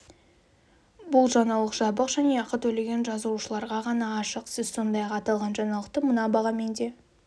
бұл жаңалық жабық және ақы төлеген жазылушыларға ғана ашық сіз сондай-ақ аталған жаңалықты мына бағамен де